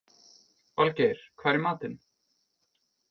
Valgeir, hvað er í matinn?